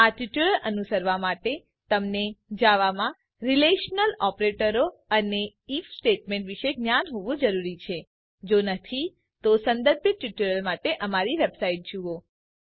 આ ટ્યુટોરીયલ અનુસરવા માટે તમને જાવામાં રીલેશનલ ઓપરેટરો અને આઇએફ સ્ટેટમેન્ટ વિષે જ્ઞાન હોવું જરૂરી છે જો નહિં તો સંબંધિત ટ્યુટોરિયલ્સ માટે અમારી વેબસાઇટ httpspoken tutorialorg જુઓ